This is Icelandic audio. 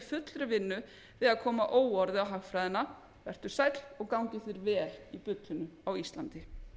fullri vinnu við að koma óorði á hagfræðina vertu sæll og gangi þér vel í bullinu á íslandi